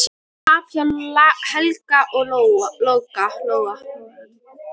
Tap hjá Helga og Loga